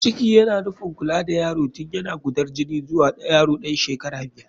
Ciki yana nufin kula da yaro tun yana gudan jini zuwa yaro ɗan shekara biyar.